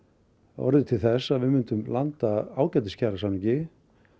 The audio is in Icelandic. orðið til þess að við gætum landað ágætis kjarasamningi